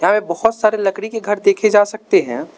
और बहोत सारे लकड़ी के घर देखे जा सकते हैं।